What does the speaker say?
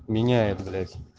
меняет блять